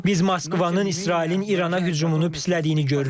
Biz Moskvanın İsrailin İrana hücumunu pislədiyini görürük.